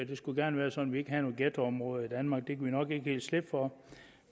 det skulle gerne være sådan ikke havde nogen ghettoområder i danmark det nok ikke helt slippe for